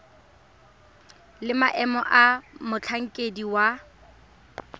le maemo a motlhankedi wa